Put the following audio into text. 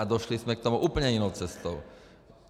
A došli jsme k tomu úplně jinou cestou.